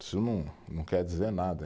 Isso não, não quer dizer nada.